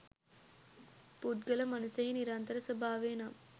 පුද්ගල මනසෙහි නිරන්තර ස්වභාවය නම්